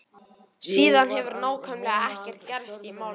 Síðan hefur nákvæmlega ekkert gerst í málinu.